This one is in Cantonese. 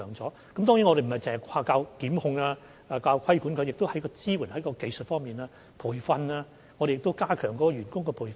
當然，我們並非只靠檢控和規管，也會在支援和技術方面進行培訓，以及加強員工的培訓等。